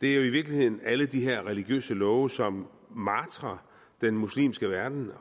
det er jo i virkeligheden alle de her religiøse love som martrer den muslimske verden